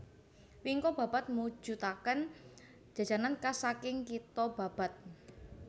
Wingko Babat mujutaken Jajanan khas saking kitho Babat